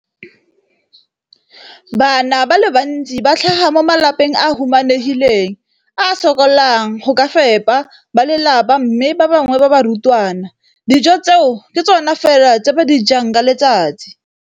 Bana ba le bantsi ba tlhaga mo malapeng a a humanegileng a a sokolang go ka fepa ba lelapa mme ba bangwe ba barutwana, dijo tseo ke tsona fela tse ba di jang ka letsatsi.